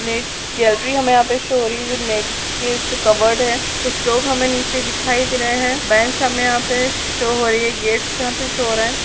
gallery हमें यहाँ पे शो हो रही है जो नेट के उसपे कवर्ड है कुछ लोग नीचे हमें दिखाई दे रहे हैं बेंच हमें यहाँ पे शो हो रही है गेट्स यहाँ पे शो हो रहा है